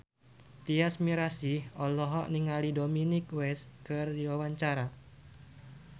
Tyas Mirasih olohok ningali Dominic West keur diwawancara